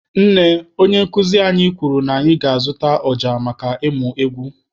Nne, onye nkụzi anyị kwuru na anyị ga-azụta ọja maka ịmụ egwu.